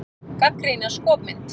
Gagnrýna skopmynd